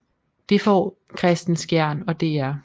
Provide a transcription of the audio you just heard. Det får Kristen Skjern og dr